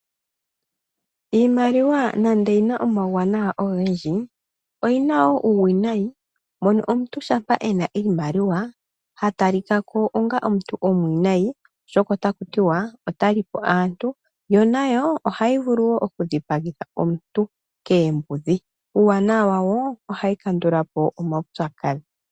Iimaliwa nando oyi na omawuwanawa ogendji, oyi na wo uuwinayi, mono omuntu shampa e na iimaliwa ha talika ko onga omuntu omwiinayi, oshoka otaku ti wa ota li po aantu yo nayo ohayi vulu okudhipagitha aantu koombudhi. Uuwanawa wayo ohayi kandula po omaupyakadhi.